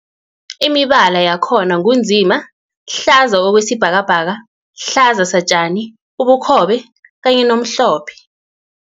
Imibala yakhona ngu nzima, hlaza okwesibhakabhaka, hlaza satjani, ubukhobe kanye nomhlophe.